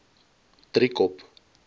driekop